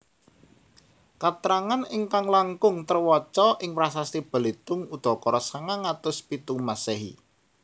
Katrangan ingkang langkung trewaca ing prasasti Balitung udakara sangang atus pitu Masèhi